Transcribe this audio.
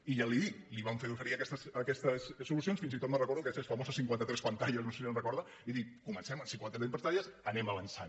i ja li ho dic li vam fer i oferir aquestes solucions fins i tot me’n recordo d’aquelles famoses cinquanta tres pantalles no sé si se’n recorda i dic comencem amb cinquanta tres pantalles anem avançant